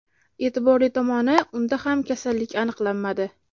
E’tiborli tomoni, unda ham kasallik aniqlanmadi.